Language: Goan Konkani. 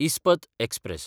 इस्पत एक्सप्रॅस